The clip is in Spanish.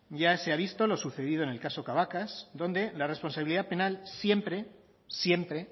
ya se ha visto lo sucedido en el caso cabacas donde la responsabilidad penal siempre siempre